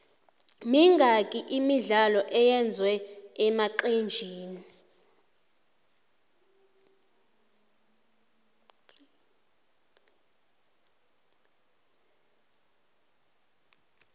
mingaki imidlalo evezwe enaxhenile